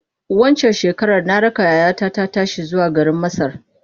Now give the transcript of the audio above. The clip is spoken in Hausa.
Waccan shekarar na raka yayata ta tashi zuwa garin Masar.